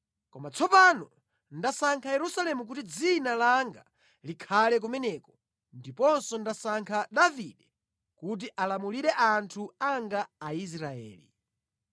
Koma tsopano ndasankha Yerusalemu kuti Dzina langa likhale kumeneko ndiponso ndasankha Davide kuti alamulire anthu anga Aisraeli.’